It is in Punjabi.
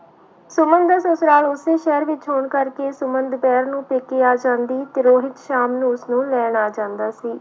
ਸੁਮਨ ਦਾ ਸਸੁਰਾਲ ਉਸੇ ਸ਼ਹਿਰ ਵਿੱਚ ਹੋਣ ਕਰਕੇ ਸੁਮਨ ਦੁਪਿਹਰ ਨੂੰ ਪੇਕੇ ਆ ਜਾਂਦੀ ਤੇ ਰੋਹਿਤ ਸ਼ਾਮ ਨੂੰ ਉਸਨੂੰ ਲੈਣ ਆ ਜਾਂਦਾ ਸੀ।